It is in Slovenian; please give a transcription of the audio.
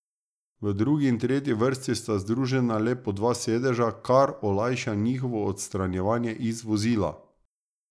V drugi in tretji vrsti sta združena le po dva sedeža, kar olajša njihovo odstranjevanje iz vozila.